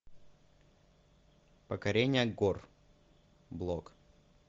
покорение гор блок